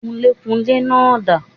Kunlékunlé náà dà